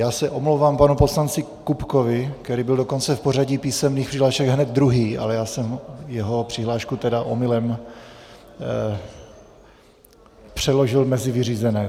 Já se omlouvám panu poslanci Kupkovi, který byl dokonce v pořadí písemných přihlášek hned druhý, ale já jsem jeho přihlášku tedy omylem přeložil mezi vyřízené.